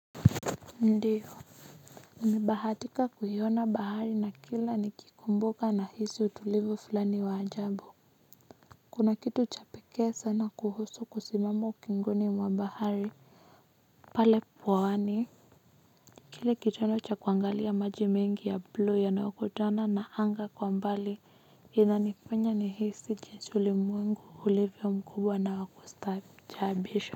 Ndiyo nilibahatika kuiona bahari na kila nikikumbuka nahisi utulivu fulani wa ajabu kuna kitu cha pekee sana kuhusu kusimama ukingoni mwa bahari pale pwani kile kitono cha kuangalia maji mingi ya blue yanayokutana na anga kwa mbali inanifanya nihisi jinsi ulimwengu ulivyo mkubwa na wa kustaajabisha.